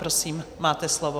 Prosím, máte slovo.